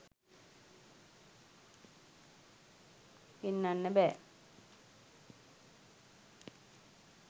පෙන්නන්න බෑ